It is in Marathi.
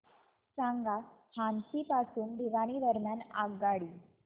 सांगा हान्सी पासून भिवानी दरम्यान आगगाडी